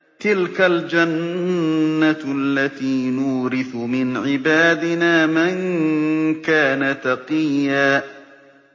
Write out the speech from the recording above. تِلْكَ الْجَنَّةُ الَّتِي نُورِثُ مِنْ عِبَادِنَا مَن كَانَ تَقِيًّا